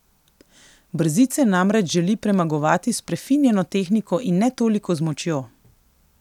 Brzice namreč želi premagovati s prefinjeno tehniko in ne toliko z močjo.